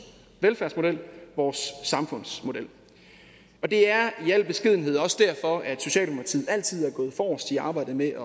velfærdsmodel vores samfundsmodel det er i al beskedenhed også derfor at socialdemokratiet altid er gået forrest i arbejdet med at